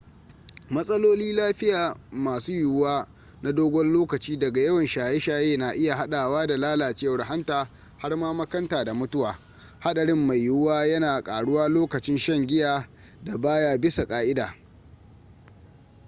matsaloli lafiya masu yiwuwa na dogon lokaci daga yawan shaye-shaye na iya haɗawa da lalacewar hanta har ma makanta da mutuwa haɗarin mai yiwuwa yana ƙaruwa lokacin shan giyan da baya bisa ƙa'ida